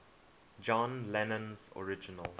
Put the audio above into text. john lennon's original